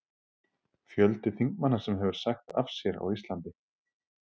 Fjöldi þingmanna sem hefur sagt af sér á Íslandi:?